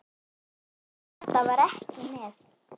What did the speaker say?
Kata var ekki með.